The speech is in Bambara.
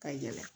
Ka yɛlɛ